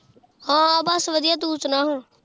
ਹਾਂ ਬਸ ਵਧੀਆ ਤੂੰ ਸੁਣਾ ਹੁਣ